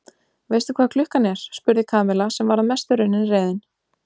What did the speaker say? Veistu hvað klukkan er? spurði Kamilla sem var að mestu runnin reiðin.